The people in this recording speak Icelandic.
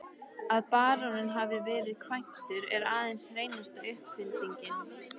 Að baróninn hafi verið kvæntur er aðeins hreinasta uppfinding.